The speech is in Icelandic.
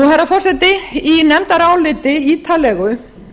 herra forseti í nefndaráliti ítarlegu